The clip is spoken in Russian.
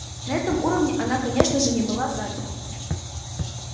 на этом уровне она конечно же не была заперта